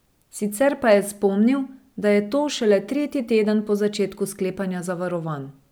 Sicer pa je spomnil, da je to šele tretji teden po začetku sklepanja zavarovanj.